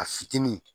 A fitinin